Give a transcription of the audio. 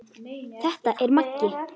Þetta er Maggi!